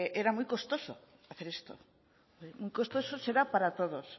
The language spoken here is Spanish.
era muy costoso hacer eso muy costoso será para todos